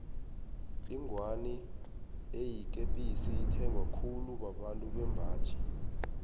ingwani eyikepisi ithengwa khulu babantu bembaji